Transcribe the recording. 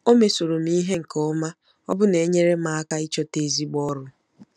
O mesoro m ihe nke ọma, ọbụna na-enyere m aka ịchọta ezigbo ọrụ.